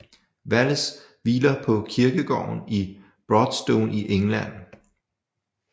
Wallace hviler på kirkegården i Broadstone i England